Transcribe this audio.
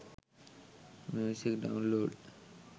music download